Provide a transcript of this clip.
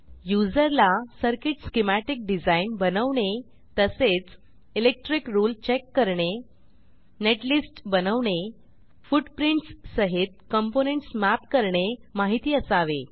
user ला circuit schematic design बनवणे तसेच इलेक्ट्रिक रुळे चेक करणे नेटलिस्ट बनवणे फुटप्रिंट्स सहित कॉम्पोनेंट्स mapकरणे माहिती असावे